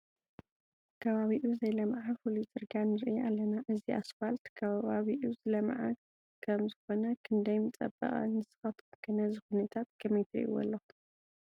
ከባቢኡ ዘይለምዐ ፍሉይ ፅርግያ ንርኢ ኣለና፡፡ እዚ ስፋልት ከባቢኡ ዝለምዐ ከምኮነ ክንደይ ምፀበቐ፡፡ ንስኻትኩም ከ ነዚ ኩነታት ከመይ ትርእይዎ ኣለኹም?